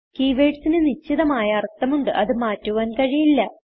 Keywordsന് നിശ്ചിതമായ അർത്ഥം ഉണ്ട് അത് മാറ്റുവാൻ കഴിയില്ല